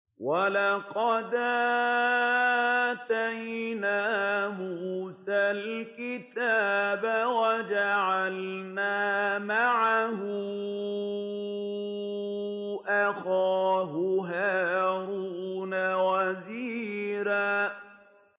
وَلَقَدْ آتَيْنَا مُوسَى الْكِتَابَ وَجَعَلْنَا مَعَهُ أَخَاهُ هَارُونَ وَزِيرًا